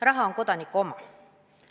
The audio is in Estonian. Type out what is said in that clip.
Raha on Kodaniku oma.